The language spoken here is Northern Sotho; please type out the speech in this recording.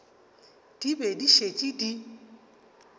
di be di šetše di